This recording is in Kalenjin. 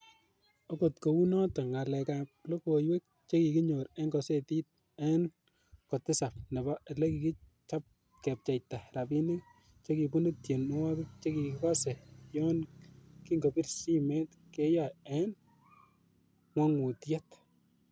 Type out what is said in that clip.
Okot kounoton ngalek ab logoiwek chekikinyor en kosetit en ko tisap, nebo ele kikipcheita rabinik chekibunu tienwogik chekikose yon kokibir simet keyoe en ngwongutiet.